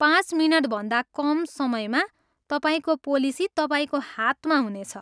पाँच मिनटभन्दा कम समयमा तपाईँको पोलिसी तपाईँको हातमा हुनेछ।